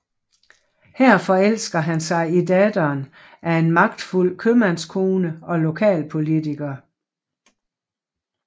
Her forelsker han sig i datteren af en magtfuld købmandskone og lokalpolitiker